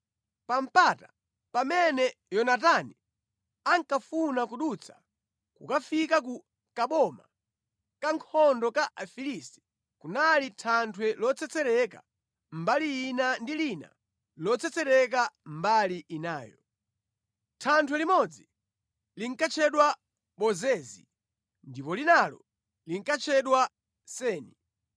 Pa mpata pamene Yonatani ankafuna kudutsa kukafika ku kaboma ka nkhondo ka Afilisti kunali thanthwe lotsetsereka mbali ina ndi lina lotsetsereka mbali inayo. Thanthwe limodzi linkatchedwa Bozezi ndipo linalo linkatchedwa Seni.